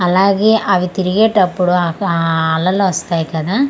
అలాగే అవి తిరిగేటప్పుడు ఆ-ఆ-అలలు వస్తాయి కదా .]